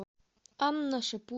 анна